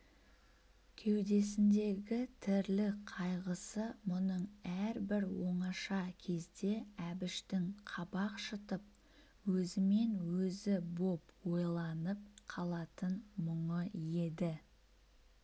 кеудесіндегі тірлік қайғысы мұның әрбір оңаша кезде әбіштің қабақ шытып өзімен-өзі боп ойланып қалатын мұңы еді